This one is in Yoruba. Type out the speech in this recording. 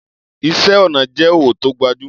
Iṣẹ́ ọnà jẹ́ òwò tó gbajúmọ̀.